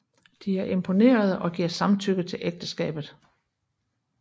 De er imponerede og giver samtykke til ægteskabet